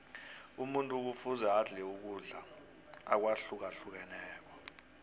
umuntu kufuze adle ukudla akwahlukahlukeneko